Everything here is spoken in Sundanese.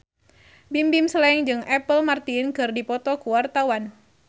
Bimbim Slank jeung Apple Martin keur dipoto ku wartawan